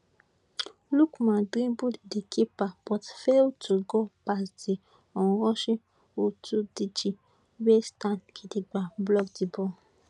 lookman dribble di keeper but fail to go past di onrushing houtoundji wey stand gidigba block di ball